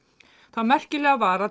það merkilega var að